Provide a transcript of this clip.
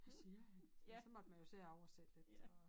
Hvad siger han ja så måtte man jo sidde og oversætte lidt og